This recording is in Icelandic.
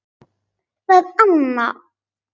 Það er Anna.